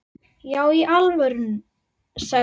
Já í alvöru, sagði hún.